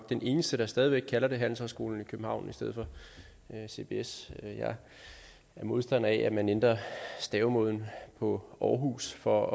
den eneste der stadig væk kalder det for handelshøjskolen i københavn i stedet for cbs jeg er modstander af at man ændrede stavemåden på aarhus for